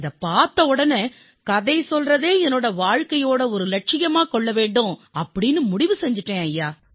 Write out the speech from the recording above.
இதைப் பார்த்தவுடன் கதை சொல்வதை என் வாழ்க்கையின் ஒரு இலட்சியமாக்கிக் கொள்ள வேண்டும் என்று நான் முடிவு செய்து விட்டேன் ஐயா